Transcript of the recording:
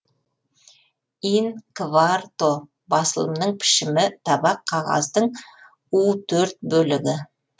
ин кварто басылымның пішімі табақ қағаздың у төрт бөлігі